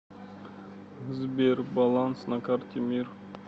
сбер баланс на карте мир